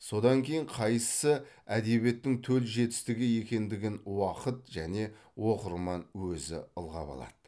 содан кейін қайсысы әдебиеттің төл жетістігі екендігін уақыт және оқырман өзі ылғап алады